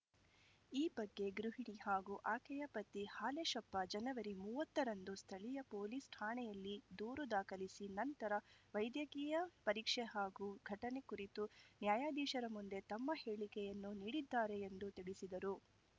ಈ ಬಗ್ಗೆ ಗೃಹಿಣಿ ಹಾಗೂ ಅಕೆಯ ಪತಿ ಹಾಲೇಶಪ್ಪ ಜನವರಿ ಮೂವತ್ತರಂದು ಸ್ಥಳೀಯ ಪೊಲೀಸ್‌ ಠಾಣೆಯಲ್ಲಿ ದೂರು ದಾಖಲಿಸಿ ನಂತರ ವೈದಕೀಯ ಪರೀಕ್ಷೆ ಹಾಗೂ ಘಟನೆ ಕುರಿತು ನ್ಯಾಯಾಧೀಶರ ಮುಂದೆ ತಮ್ಮ ಹೇಳಿಕೆಯನ್ನೂ ನೀಡಿದ್ದಾರೆ ಎಂದು ತಿಳಿಸಿದರು